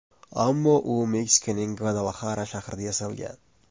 Ammo u Meksikaning Gvadalahara shahrida yasalgan.